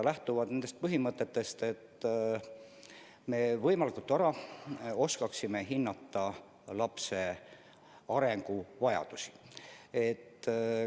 Lähtutud on nendest põhimõtetest, et me võimalikult vara oskaksime hinnata lapse arengu vajadusi.